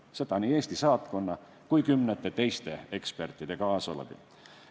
Seda nii Eesti saatkonna kui ka kümnete teiste ekspertide kaasabil.